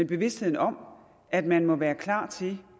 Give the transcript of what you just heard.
bevidstheden om at man må være klar til